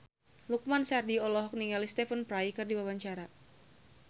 Lukman Sardi olohok ningali Stephen Fry keur diwawancara